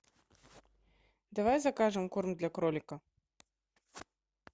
давай закажем корм для кролика